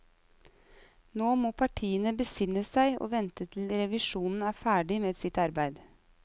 Nå må partiene besinne seg og vente til revisjonen er ferdig med sitt arbeid.